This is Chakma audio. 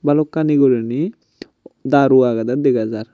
balokkani guriney daru agedey dega jar.